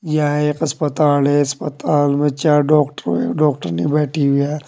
यह एक अस्पताल है अस्पताल में चार डॉक्टर एवं डॉक्टरनी बैठी हुई है।